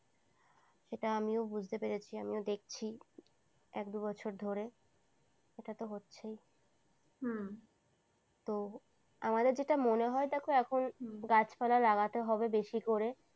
সেটা আমিও বুঝতে পেরেছি আমিও দেখছি এক দু বছর ধরে সেটা তো হচ্ছেই হম তো আমাদের যেটা মনে হয় দেখো এখন গাছপালা লাগাতে হবে বেশি করে।